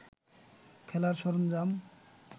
খেলার সরঞ্জাম